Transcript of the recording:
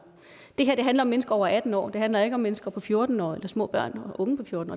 det her handler om mennesker over atten år det handler ikke om mennesker på fjorten år eller små børn